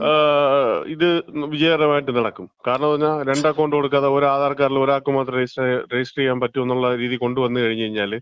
ഇത് വിജയകരമായിട്ട് നടക്കും. കാരണംന്ന് പറഞ്ഞാ രണ്ട് അക്കൗണ്ട് കൊടുക്കാതെ ഒരു ആധാർ കാർഡില് ഒരാൾക്ക് മാത്രം രജിസ്റ്റർ ചെയ്യാൻ, രജിസ്റ്റർ ചെയ്യാൻ പറ്റുംന്നുള്ള രീതി കൊണ്ടുവന്ന് കഴിഞ്ഞ്കഴിഞ്ഞാല്,